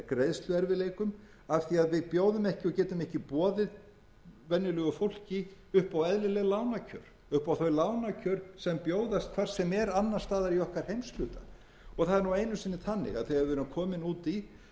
greiðsluerfiðleikum af því að við bjóðum ekki og getum ekki boðið venjulegu fólki upp á eðlileg lánakjör upp á þau lánakjör sem bjóðast hvar sem er annars staðar í okkar heimshluta það er nú einu sinni þannig að þegar við erum komin út í það alla